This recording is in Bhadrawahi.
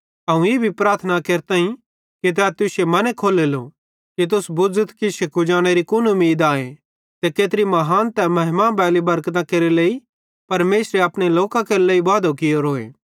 अवं ई भी प्रार्थना केरताईं कि तै तुश्शे मने खोलेलो कि तुस बुझ़थ कि इश्शे कुजानेरी कुन उमीद आए ते केत्री महान ते महिमा बैली बरकतां केरे लेइ परमेशरे अपने लोकन जो वादो कियोरोए